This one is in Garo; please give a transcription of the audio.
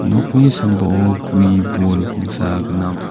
nokni sambao gue bol pangsa gnang.